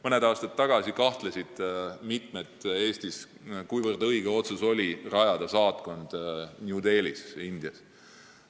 Mõned aastad tagasi kahtlesid mitmed inimesed Eestis, kuivõrd õige oli otsus rajada saatkond New Delhisse Indias.